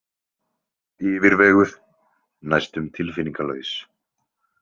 Yfirveguð, næstum tilfinningalaus.